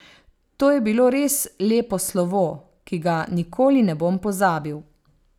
To je bilo res lepo slovo, ki ga nikoli ne bom pozabil.